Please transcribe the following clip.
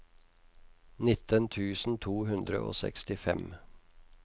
nitten tusen to hundre og sekstifem